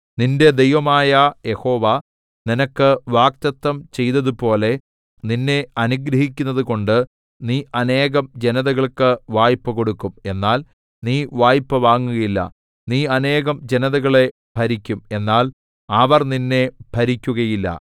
നിന്റെ ദൈവമായ യഹോവ നിനക്ക് വാഗ്ദത്തം ചെയ്തതുപോലെ നിന്നെ അനുഗ്രഹിക്കുന്നതുകൊണ്ട് നീ അനേകം ജനതകൾക്ക് വായ്പ കൊടുക്കും എന്നാൽ നീ വായ്പ വാങ്ങുകയില്ല നീ അനേകം ജനതകളെ ഭരിക്കും എന്നാൽ അവർ നിന്നെ ഭരിക്കുകയില്ല